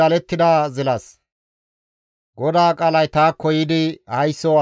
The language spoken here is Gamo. «Haysso asa nawu! Xiroosi gishshas zilala.